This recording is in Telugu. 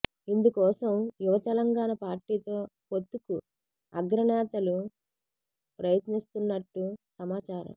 ఇందుకోసం యువ తెలంగాణ పార్టీతో పొత్తుకు అగ్ర నేతలు ప్రయత్నిస్తున్నట్టు సమాచారం